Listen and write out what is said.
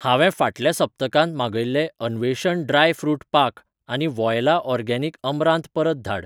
हांवें फाटल्या सप्तकांत मागयिल्लें अन्वेषण ड्राय फ्रूट पाक आनी वॉयला ऑर्गेनिक अमरांत परत धाड.